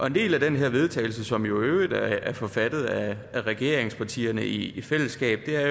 en del af den her vedtagelse som jo i øvrigt er forfattet af regeringspartierne i fællesskab det er